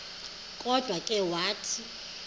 kodwa ke wathi